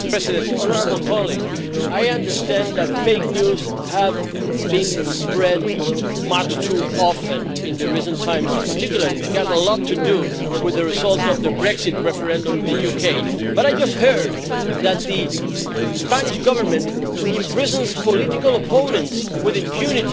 Honourable colleague, I understand that fake news has been spread much too often in recent times, and in particular it had a lot to do with the result of the Brexit referendum in the UK, but I just heard you say that the Spanish Government imprisons political opponents with impunity.